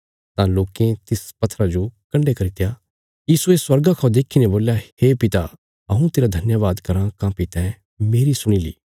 तां लोकें तिस पत्थरा जो कण्डे करित्या यीशुये स्वर्गा खा देखीने बोल्या हे पिता हऊँ तेरा धन्यवाद कराँ काँह्भई तैं मेरी सुणी ली